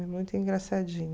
É muito engraçadinho.